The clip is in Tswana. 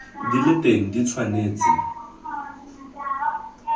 di le teng di tshwanetse